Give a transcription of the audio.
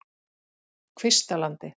Kvistalandi